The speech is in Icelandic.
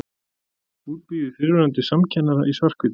Útbíuð í fyrrverandi samkennara í svarthvítu.